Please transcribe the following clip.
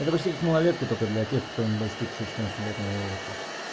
малолетка только для тех кто не достигшего четырнадцати летнего возраста